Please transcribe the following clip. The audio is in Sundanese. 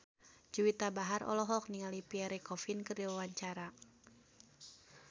Juwita Bahar olohok ningali Pierre Coffin keur diwawancara